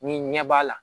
Ni ɲɛ b'a la